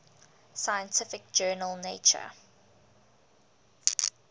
scientific journal nature